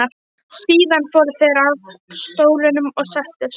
Síðan fóru þeir að stólunum og settust.